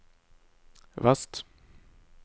vest